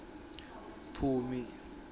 phumi